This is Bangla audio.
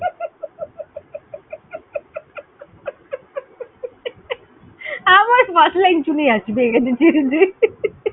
আমার শুনে হাসি পেয়ে গ্যাছে, ছেড়ে দে।